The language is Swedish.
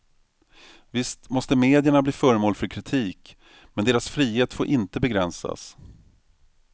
Visst måste medierna bli föremål för kritik, men deras frihet får inte begränsas.